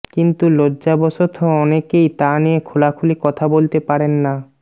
কিন্তু লজ্জাবশত অনেকেই তা নিয়ে খোলাখুলি কথা বলতে পারেন না